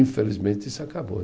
Infelizmente, isso acabou.